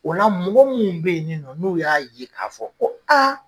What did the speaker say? O la mɔgɔ mun be yen nɔ n'u ya ye ka fɔ ko aa